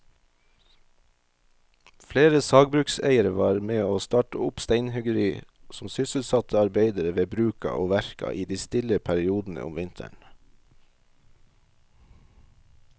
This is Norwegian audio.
Flere sagbrukseiere var med å starte opp steinhuggeri som sysselsatte arbeidere ved bruka og verka i de stille periodene om vinteren.